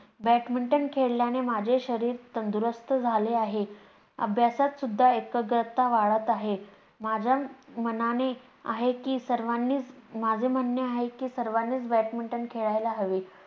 badminton खेळल्याने माझे शरीर तंदुरुस्त झाले आहे. अभ्यासात सुद्धा एकाग्रता वाढत आहे माझ्या मनाने आहे कि सर्वांनीच माझे म्हणणे आहे की सर्वांनीच badminton खेळायला हवे